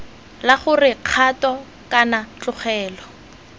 la gore kgato kana tlogelo